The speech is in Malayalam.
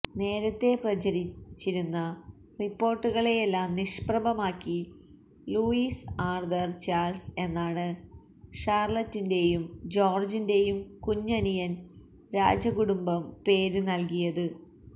നേരത്തെ പ്രചരിച്ചിരുന്ന റിപ്പോർട്ടുകളെയെല്ലാം നിഷ്പ്രഭമാക്കി ലൂയിസ് ആർതർ ചാൾസ് എന്നാണ് ഷാർലറ്റിന്റെയും ജോർജിന്റെയും കുഞ്ഞനിയന് രാജകുടുംബം പേര് നൽകിയത്